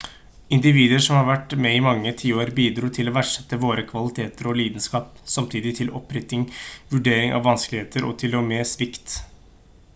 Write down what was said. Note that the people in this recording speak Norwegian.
individer som hadde vært med i mange tiår bidro til å verdsette våre kvaliteter og lidenskap samtidig til oppriktig vurdering av vanskeligheter og til og med svikt